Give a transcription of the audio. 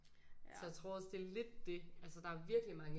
Så jeg tror også det er lidt det altså der er virkelig mange